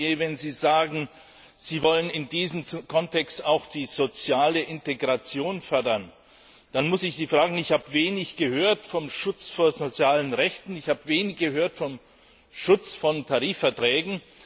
Herr Barnier, wenn Sie sagen, Sie wollen in diesem Kontext auch die soziale Integration fördern, dann muss ich sagen Ich habe wenig gehört vom Schutz von sozialen Rechten, ich habe wenig gehört vom Schutz von Tarifverträgen.